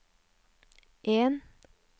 en